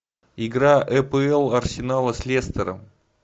игра апл арсенала с лестером